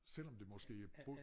Selvom det måske bo